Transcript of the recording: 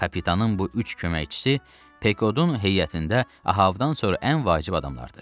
Kapitanın bu üç köməkçisi Pekodun heyətində Ahavdan sonra ən vacib adamlardır.